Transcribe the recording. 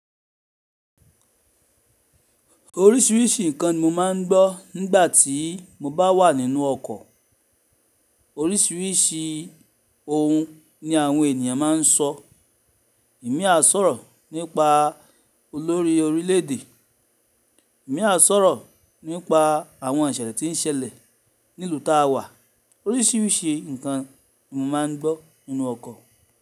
Oríṣiríṣi nǹkan ni mo máa ń gbọ́ nígbà tí mo bá wà nínú ọkọ̀. Oríṣiríṣi ohun ni àwọn ènìyàn máa ń sọ. Ẹ̀mi àá sọ̀rọ̀ nípa olórí orílẹ̀-èdè, ẹ̀mi àá sọ̀rọ̀ nípa àwọn ìṣẹ̀lẹ̀ ti ń ṣẹlẹ̀ nílùú tí a wà. Oríṣiríṣi nǹkan ni mo máa ń gbọ́ nínú ọkọ̀